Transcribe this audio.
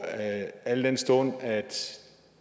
al den stund at